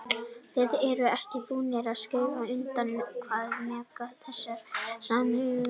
Þið eruð ekki búnir að skrifa undir, hvað er megin inntak þessara samninga Vilhjálmur?